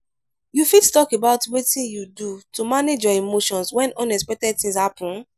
you fit talk about wetin you do to manage your emotions when unexpected things happen?